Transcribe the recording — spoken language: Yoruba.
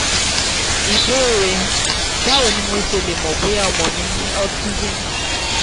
ìbéèrè: báwo ni mo ṣe lè mọ̀ bóyá ọmọ mi ní autism?